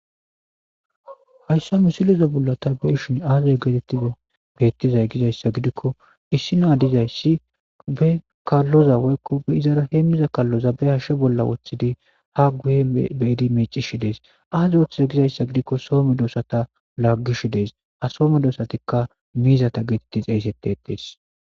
Hasan misileza bollan ta be'ishin Aze betizay gizayssa gidiko issi na dizayssi be kalloza woyko be izara hemiza kaloza behashe bolla wothidi ha guye be'di micishe Des azi othize gizayssa gidiko so medosata lagishe Des ha so medosatika mizi getettes